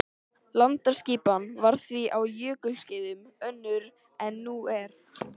Landaskipan var því á jökulskeiðum önnur en nú er.